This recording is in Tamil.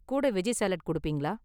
கூட வெஜ்ஜி சாலட் கொடுப்பீங்களா?